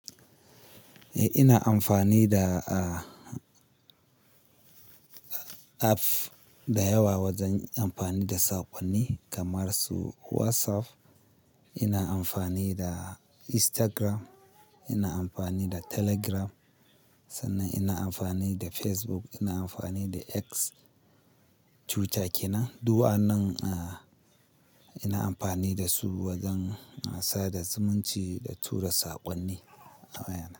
Eh, ina amfani da, ah, app da yawa wajen amfani da saƙonni kamar su WhatsApp. Ina amfani da Instagram, ina amfani da Telegram, sannan ina amfani da Facebook, ina amfani da X. Twitter kenan, duk wannan, ah, ina amfani da su wajen sada zumunci da tura saƙonni a wayana.